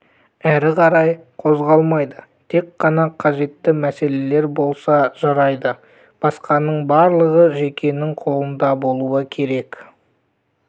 әрі қарай қозғалмайды тек қана қажетті мәселелер болса жарайды басқаның барлығы жекенің қолында болуы керек